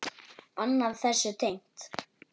Annað þessu tengt.